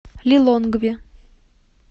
лилонгве